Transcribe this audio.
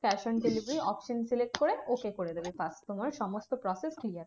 Cash on delivery option select করে okay করে দেবে ব্যাস তোমার সমস্ত process clear.